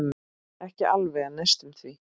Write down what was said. Ekki alveg en næstum því.